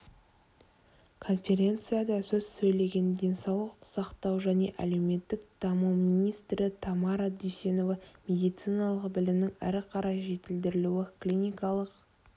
конференцияда сөз сөйлеген денсаулық сақтау және әлеуметтік даму министрі тамара дүйсенова медициналық білімнің әріқарай жетілдірілуі клиникалық